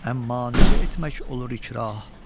Əmma necə etmək olur ikrah?